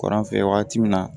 Kɔrɔn fɛ wagati min na